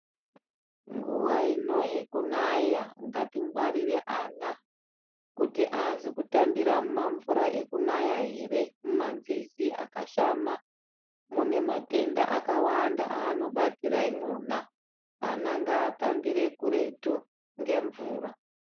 Nguva ino yekunaya ngatingwarire ana kuti haasi kutambira mumamvura ekunaya here mumanzizi akashama munematenda akawanda aaono batira imwona .Ana ngavatambire kuretu ngemvura.